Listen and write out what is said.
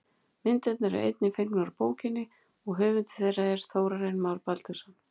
Myndirnar eru einnig fengnar úr bókinni og höfundur þeirra er Þórarinn Már Baldursson.